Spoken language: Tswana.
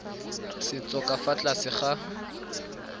setso ka fa tlase ga